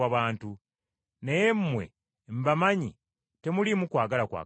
Naye mmwe mbamanyi temuliimu kwagala kwa Katonda.